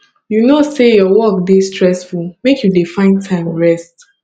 you know sey your work dey stressful make you dey find time rest